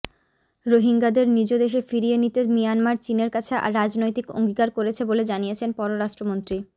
রোহিঙ্গাদের নিজ দেশে ফিরিয়ে নিতে মিয়ানমার চীনের কাছে রাজনৈতিক অঙ্গীকার করেছে বলে জানিয়েছেন পররাষ্ট্রমন্ত্রী ড